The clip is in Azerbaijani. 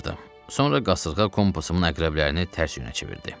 Sonra qasırğa kompasımın əqrəblərini tərs yönə çevirdi.